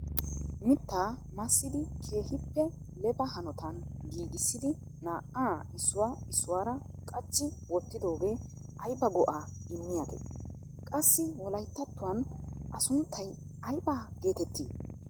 Mitta massidi keehippe lefa hanotan giigissidi naa"a issuwa issuwaara qachchi wottidooge aybba go"a immiyaage? Qassi Wolayttatuwan a sunttay aybba geettetii?